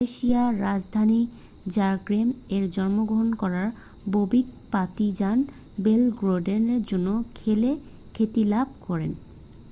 ক্রোয়েশিয়ার রাজধানী জাগ্রেব-এ জন্মগ্রহণ করা বোবিক পার্তিজান বেলগ্রেডের জন্য খেলে খ্যাতিলাভ করেন